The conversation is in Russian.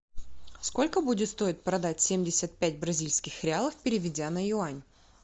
сколько будет стоить продать семьдесят пять бразильских реалов переведя на юань